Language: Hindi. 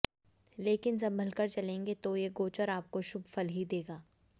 लेकिन संभलकर चलेंगे तो ये गोचर आपको शुभ फल ही देगा